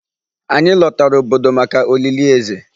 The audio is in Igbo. Anyị lọtara obodo maka olili Eze.